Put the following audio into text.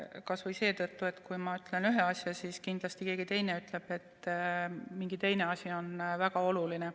Kas või seetõttu, et kui ma ütlen ühe asja, siis kindlasti keegi teine ütleb, et hoopis mingi teine asi on väga oluline.